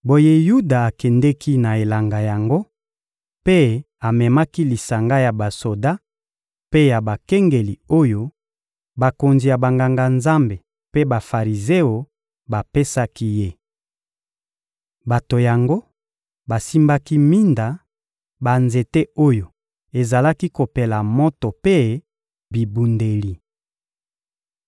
Boye Yuda akendeki na elanga yango mpe amemaki lisanga ya basoda mpe ya bakengeli oyo bakonzi ya Banganga-Nzambe mpe Bafarizeo bapesaki ye. Bato yango basimbaki minda, banzete oyo ezalaki kopela moto mpe bibundeli.